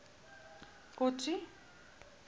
kotsi